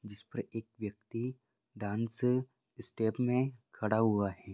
जिस पर एक व्यक्ति डांस स्टेप में खड़ा हुआ है।